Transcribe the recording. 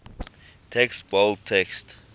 text bold text